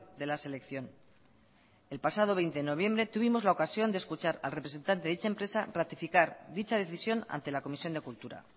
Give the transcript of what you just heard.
de la selección el pasado veinte de noviembre tuvimos la ocasión de escuchar al representante de dicha empresa ratificar dicha decisión ante la comisión de cultura